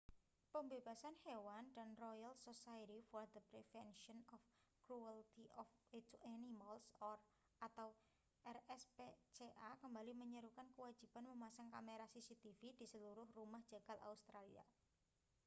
pembebas hewan dan royal society for the prevention of cruelty to animals rspca kembali menyerukan kewajiban memasang kamera cctv di seluruh rumah jagal australia